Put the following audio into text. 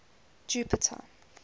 jupiter